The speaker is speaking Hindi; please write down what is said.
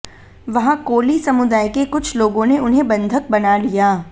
वहाँ कोली समुदाय के कुछ लोगों ने उन्हें बँधक बना लिया